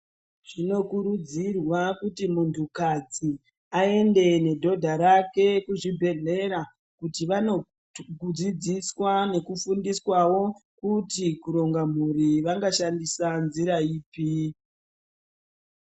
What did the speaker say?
Zvinokurudzirwa kuti muntukadzi aende nedhodha rake kuzvibhedhlera kuti vanodzidziswa nekufundiswawo kuti kuronga mhuri vangashandisa nzira iri.